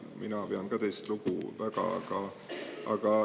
Mina pean ka teist väga lugu.